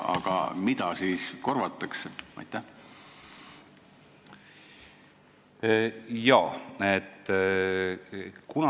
Aga mida siis korvatakse?